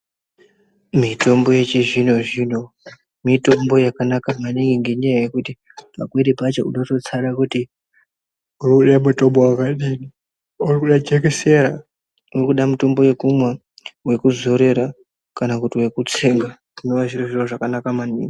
Mitombo yechizvinozvino mitombo yakanaka maningi ngenyaya yekuti pamweni pacho unototsara kuti unoda mutombo wakadini woda jekesera, urikuda mutombo wekumwa, wekuzorera ,kana kuti wekutsenga zvinova zviri zviro zvakanaka maningi.